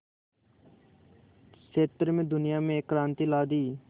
क्षेत्र में दुनिया में एक क्रांति ला दी